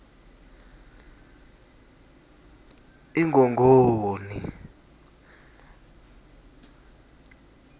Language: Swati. ingongoni